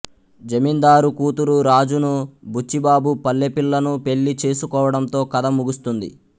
జమీందారు కూతురు రాజును బుచ్చిబాబు పల్లెపిల్లను పెళ్ళి చేసుకోవడంతో కథ ముగుస్తుంది